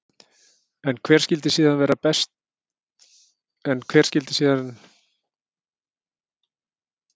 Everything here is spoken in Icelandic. En hver skyldi síðan vera allra besti háskóli í heimi?